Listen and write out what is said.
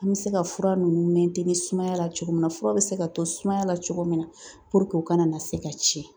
An bɛ se ka fura ninnu sumaya la cogo min na fura bɛ se ka to sumaya la cogo min na u kana na se ka tiɲɛ